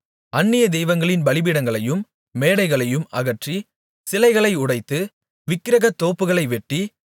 அந்நிய தெய்வங்களின் பலிபீடங்களையும் மேடைகளையும் அகற்றி சிலைகளை உடைத்து விக்கிரகத்தோப்புகளை வெட்டி